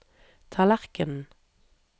tallerkenen